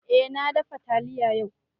Eh na dafa taliya yau